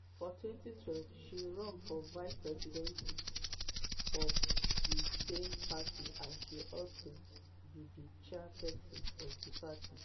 for 2012 she run for vice presidency for di same party as she also be di chairpesin of di party.